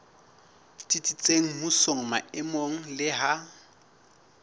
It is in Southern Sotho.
tsitsitseng mmusong maemong le ha